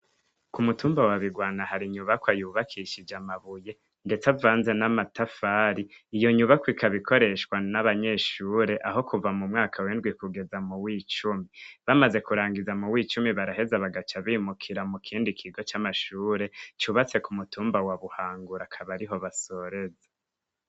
Ku mutumba wa bigwana hari inyubakwa yubakishije amabuye ndetse avanze n'amatafari, iyo nyubakwa ikaba ikoreshwa n'abanyeshure aho kuva muw'indwi kugeza muwi cumi bamaze kurangiza muw'icumi baraheza bakaca bimukira mu kindi kigo c'amashure cubatse ku mutumba wa buhangura akaba ariho basoreza.